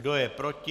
Kdo je proti?